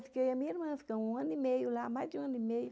E a minha irmã ficou um ano e meio lá, mais de um ano e meio.